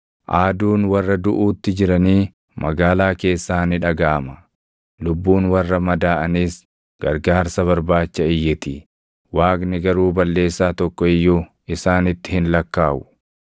Aaduun warra duʼuutti jiranii magaalaa keessaa ni dhagaʼama; lubbuun warra madaaʼaniis gargaarsa barbaacha iyyiti. Waaqni garuu balleessaa tokko iyyuu isaanitti hin lakkaaʼu.